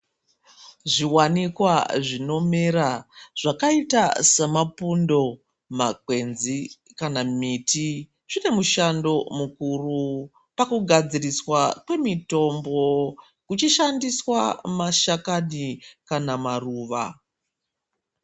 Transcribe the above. Zvi wanikwa zvino mera zvakaita se mapundo makwenzi kana miti zvine mishando mukuru paku gadziriswa kwe mitombo kuchi shandiswa mashakani kana maruva.